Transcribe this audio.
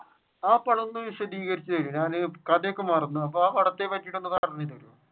ആ പടം ഒന്ന് വിശധികരിച്ചുതരോ ഞാൻ കഥയൊക്കെ മറന്നു അപ്പൊ ആ പടത്തെ പറ്റി